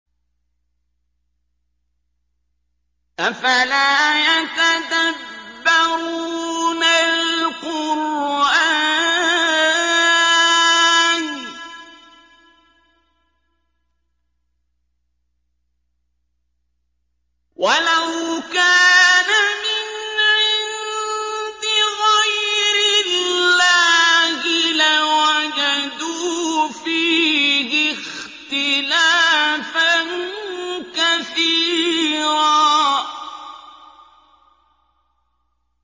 أَفَلَا يَتَدَبَّرُونَ الْقُرْآنَ ۚ وَلَوْ كَانَ مِنْ عِندِ غَيْرِ اللَّهِ لَوَجَدُوا فِيهِ اخْتِلَافًا كَثِيرًا